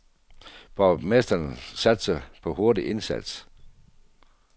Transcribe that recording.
Borgmesteren satser på en hurtig indsats.